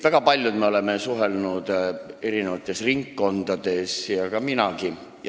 Väga paljud meist suhtlevad erinevate ringkondadega ja nii ka mina.